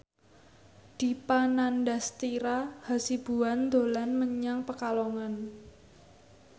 Dipa Nandastyra Hasibuan dolan menyang Pekalongan